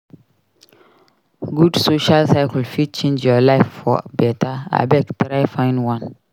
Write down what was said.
Good social circle fit change your life for beta; abeg try find one.